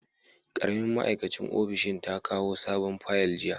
Karamin ma'aikacin ofishin ta kawo sabon fayal jiya.